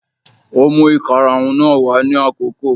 Kò mú ìkarahun náà wá ní àkókò